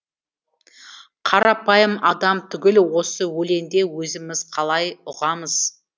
қарапайым адам түгіл осы өлеңді өзіміз қалай ұғамыз